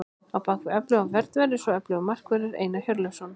Á bakvið öfluga vörn verður svo öflugur markvörður, Einar Hjörleifsson.